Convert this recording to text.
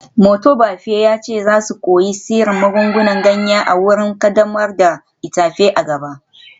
Motobafe ya ce za su koyi sirrin magungunan ganya a wurin kaddamar da itefa a gaba